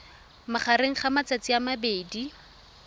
magareng ga matsatsi a mabedi